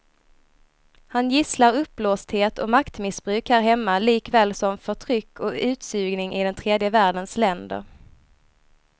Han gisslar uppblåsthet och maktmissbruk här hemma likaväl som förtryck och utsugning i den tredje världens länder.